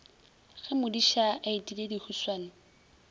ge modiša a etile dihuswane